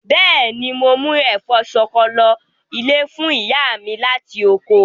Bẹ́ẹ̀ni, mo mú ẹ̀fọ́ ṣọkọ lọ ilé fún ìyá mi láti oko.